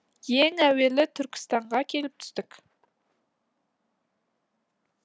ең әуелі түркстанға келіп түстік